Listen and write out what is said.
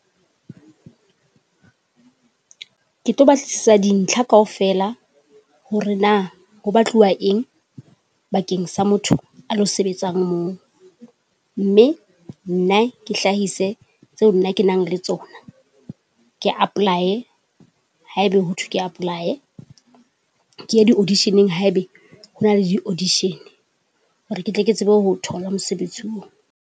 Ke tlo batlisisa dintlha kaofela, hore na ho batluwa eng bakeng sa motho a lo sebetsang moo. Mme nna ke hlahise tseo nna ke nang le tsona. Ke apply, haebe ho thwe ke apply. Keye di auditioneng haebe hona le di audition. Hore ketle ke tsebe ho thola mosebetsi oo.